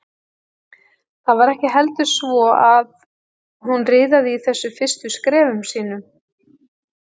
Það var ekki heldur svo að hún riðaði í þessum fyrstu skrefum sínum.